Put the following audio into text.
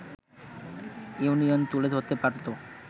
union তুলে ধরতে পারত